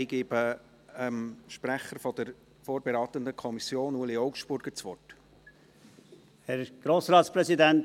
Ich gebe dem Sprecher der vorberatenden Kommission, Ueli Augstburger, das Wort.